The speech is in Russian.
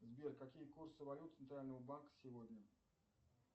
сбер какие курсы валют центрального банка сегодня